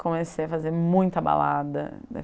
Comecei a fazer muita balada.